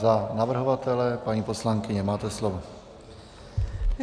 Za navrhovatele, paní poslankyně, máte slovo.